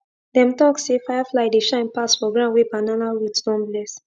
dem dey talk say firefly dey shine pass for ground wey banana root don bless